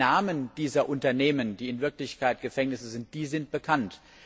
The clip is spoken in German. Die Namen dieser Unternehmen, die in Wirklichkeit Gefängnisse sind, sind bekannt.